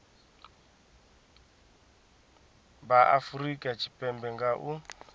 vha afurika tshipembe nga u